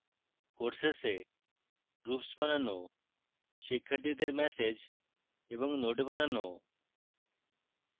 courses a groups বানানো শিক্ষার্থীদের message এবং notes পাঠানো